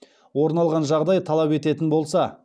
орын алған жағдай талап ететін болса